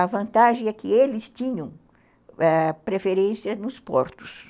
A vantagem é que eles tinham ãh preferência nos portos.